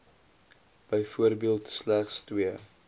byvoorbeeld slegs twee